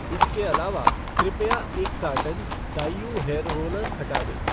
इसके अलावा, कृपया एक कार्टन डाईऊ हेयर रोलर हटा दें।